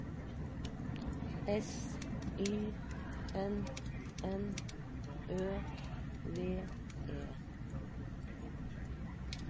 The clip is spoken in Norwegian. S Y N N Ø V E